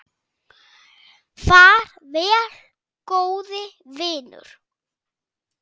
Far vel, góði vinur.